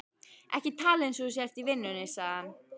Ekki tala eins og þú sért í vinnunni, sagði hann.